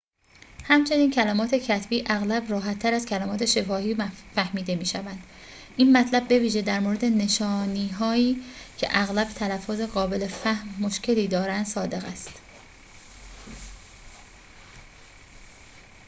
همچنین کلمات کتبی اغلب راحتر از کلمات شفاهی فهمیده می‌شوند این مطلب بویژه در مورد نشانی‌هایی که اغلب تلفظ قابل فهم مشکلی دارند صادق است